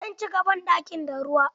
Zan cika banɗakin da ruwa.